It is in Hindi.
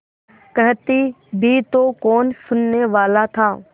कहती भी तो कौन सुनने वाला था